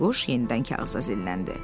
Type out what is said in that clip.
Bayquş yenidən kağıza zilləndi.